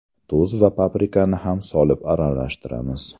Tuz va paprikani ham solib aralashtiramiz.